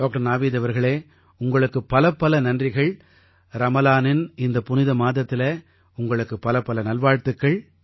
doctor Naveed அவர்களே உங்களுக்குப் பலப்பல நன்றிகள் ரமலானின் இந்த புனித மாதத்தில உங்களுக்குப் பலப்பல நல்வாழ்த்துக்கள்